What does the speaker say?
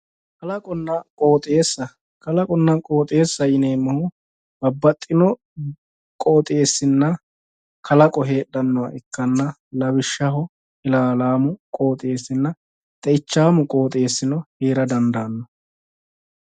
Kalaqonna qooxeessaho yineemmohu babbaxxino qooxeessina kalaqo heedhannoha ikkanna lawishshaho ilaalaamu qooxeessinna xe"ichaamu qooxeessino heera dandaanno